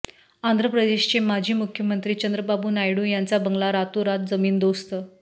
आंध्र प्रदेशचे माजी मुख्यमंत्री चंद्राबाबू नायडू यांचा बंगला रातोरात जमीनदोस्त